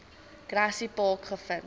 grassy park gevind